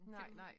Nej nej